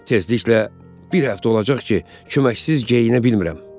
Tezliklə bir həftə olacaq ki, köməksiz geyinə bilmirəm.